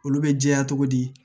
Olu bɛ jɛya cogo di